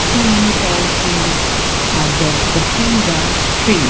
so many tall trees are there the trees are stre--